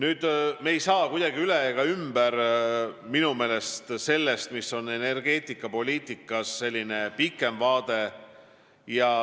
Me ei saa minu meelest kuidagi üle ega ümber sellest, mis on energeetikapoliitikas pikem vaade.